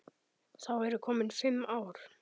Þá eru komin fimm ár.